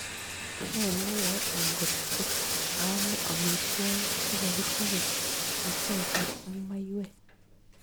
Ne neyoe ankot kaa amee amitwogik chegichope kechokchin ak maiyweek